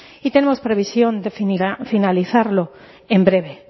y tenemos previsión de finalizarlo en breve